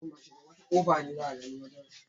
Taliyar caina kaɗai ne Gabriel ya iya dafa.